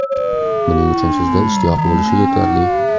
Buning uchun sizda ishtiyoq bo‘lishi yetarli.